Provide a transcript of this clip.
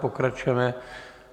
Pokračujeme.